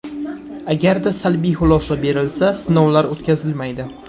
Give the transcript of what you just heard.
Agarda salbiy xulosa berilsa, sinovlar o‘tkazilmaydi.